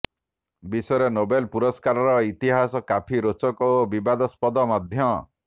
ବିଶ୍ୱରେ ନୋବେଲ ପୁରସ୍କାରର ଇତିହାସ କାଫି ରୋଚକ ଓ ବିବାଦସ୍ପଦ ମଧ୍ୟ